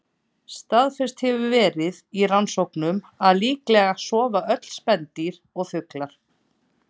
Staðfest hefur verið í rannsóknum að líklega sofa öll spendýr og fuglar.